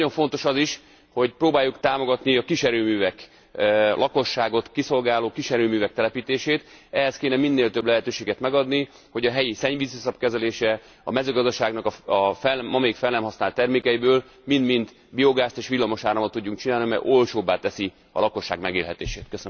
Nagyon fontos az is, hogy próbáljuk támogatni a kiserőművek, a lakosságot kiszolgáló kiserőművek telepítését, ehhez kellene minél több lehetőséget megadni, hogy a helyi szennyvíziszap kezeléséből, a mezőgazdaságnak ma még fel nem használt termékeiből mind mind biogázt és villamos áramot tudjunk csinálni, mert olcsóbbá teszi a lakosság megélhetését.